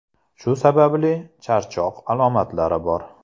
Shu sababli charchoq alomatlari bor.